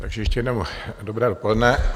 Takže ještě jednou dobré dopoledne.